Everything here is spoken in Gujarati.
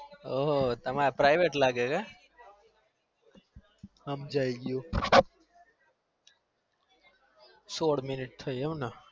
ઓ તમારે private લાગે હમજી ગયું સોર minute થઇ એમ ને